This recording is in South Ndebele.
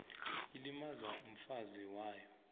ilimaza umfazi wayo